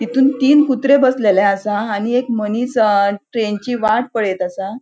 तितुन तीन कुत्रे बसलेले आसा आणि एक मनिस अ ट्रेनची वाट पळेत असा.